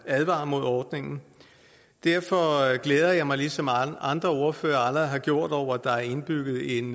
advarer mod ordningen derfor glæder jeg mig ligesom andre ordførere allerede har gjort det over at der er indbygget en